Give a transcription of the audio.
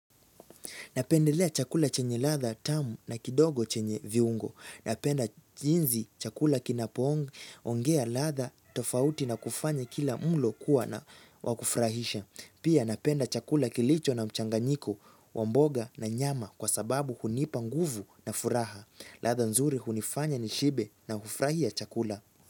Napendelea chakula chenye ladha tamu na kindogo chenye viungo. Napenda jinzi chakula kinapoongea ladha, tofauti na kufanya kila mlo kuwa na wakufrahisha. Pia napenda chakula kilicho na mchanganyiko, wa mboga na nyama kwa sababu hunipa nguvu na furaha. Ladha nzuri hunifanya nishibe na hufurahia chakula.